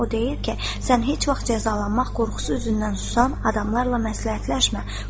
O deyir ki, sən heç vaxt cəzalanmaq qorxusu üzündən susan adamlarla məsləhətləşmə.